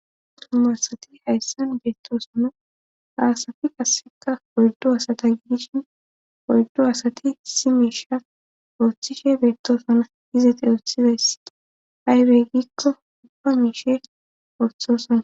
Tumasati hayssan beettosona haasati kasseka oyddo asata gidishin oyddo asati si miisha ooththishe beettosona izete ooththizayssiti hayrey gikko ubba miishe ooththosana